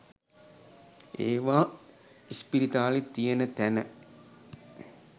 ඒවා ඉස්පිරිතාලෙ තියන තැන